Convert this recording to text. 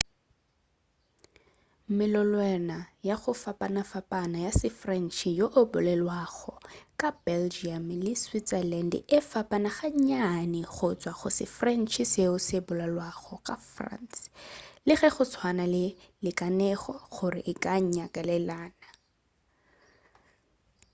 melolelwana ya go fapafapana ya se-french yoo e bolelwago ka belgium le switzerland e fapana gannyane go tšwa go se-french seo se bolalwago ka france le ge e tswana go lekanego gore e ka nyalelana